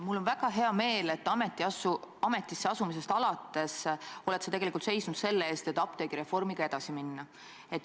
Mul on väga hea meel, et ametisse asumisest alates oled sa tegelikult seisnud selle eest, et apteegireformiga edasi minna.